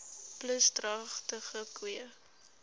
plus dragtige koeie